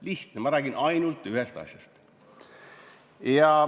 Lihtne, ma räägin ainult ühest asjast.